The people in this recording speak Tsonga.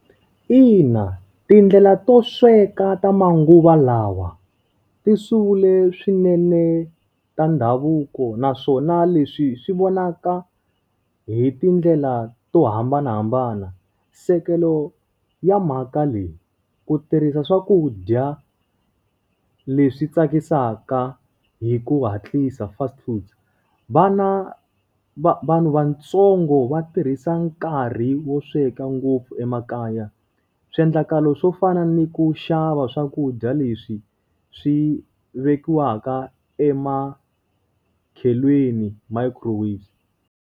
Ina, tindlela to sweka ta manguva lawa, ti sungule swinene ta ndhavuko naswona leswi swi vonaka hi tindlela to hambanahambana. Nsekelo ya mhaka leyi, ku tirhisa swakudya leswi tsakisaka hi ku hatlisa fast food. Vana vanhu vatsongo va tirhisa nkarhi wo sweka ngopfu emakaya. Swiendlakalo swo fana ni ku xava swakudya leswi swi vekiwaka emakhelweni microwave.